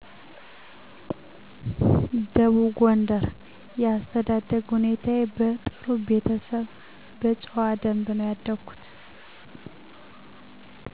ደቡብ ጎንደር የአስተዳደግ ሁኔታዬ በጥሩ ቤተሰብ በጨዋ ደንብ ነው ያደኩት